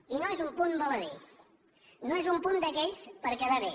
i no és un punt baladí no és un punt d’aquells per quedar bé